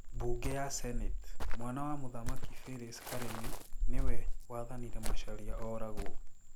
Mbunge ya Senate: Mwana wa mũthamaki Philis karĩmi nĩ we wathanire macharia oragwo